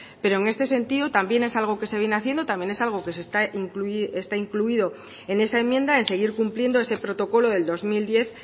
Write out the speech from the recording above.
pero en este sentido también es algo que se viene haciendo también es algo que está incluido en esa enmienda en seguir cumpliendo ese protocolo del dos mil diez